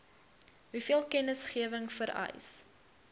hoeveel kennisgewing vereis